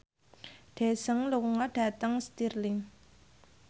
Daesung lunga dhateng Stirling